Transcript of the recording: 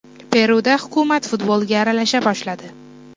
Peruda hukumat futbolga aralasha boshladi.